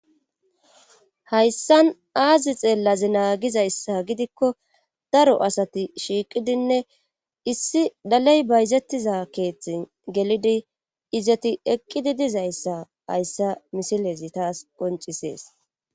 Hayssan aazi xeellazi naagizayssa gidikko daro asati shiiqidinne issi daley bayzettiza keeththi gelidi izati eqqidi dizayssa hayssa misilezi taas qoncisees